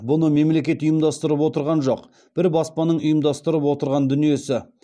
бұны мемлекет ұйымдастырып отырған жоқ бір баспаның ұйымдастырып отырған дүниесі